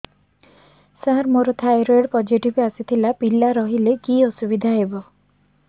ସାର ମୋର thyroid positive ଆସିଥିଲା ପିଲା ରହିଲେ କି ଅସୁବିଧା ହେବ